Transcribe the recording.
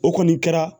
O kɔni kɛra